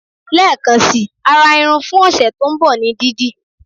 Lekan si ara irun fun ọsẹ to nbọ ní didi